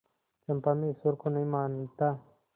चंपा मैं ईश्वर को नहीं मानता